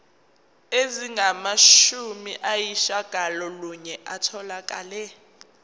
ezingamashumi ayishiyagalolunye zitholakele